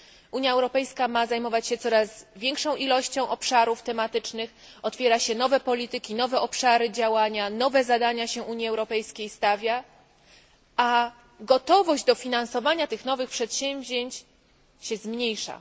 Unia Europejska ma zajmować się coraz większą ilością obszarów tematycznych, otwiera się nowe polityki, nowe obszary działania, stawia się Unii Europejskiej nowe zadania a gotowością do finansowania tych nowych przedsięwzięć, która stale się zmniejsza.